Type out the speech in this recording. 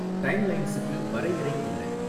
டைம்லைன்ஸுக்கு வரையறை என்ன